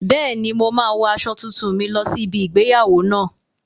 Bẹ́ẹ̀ni, mo máa wo aṣọ tuntun mi lọ sí ibi igbéyàwó náà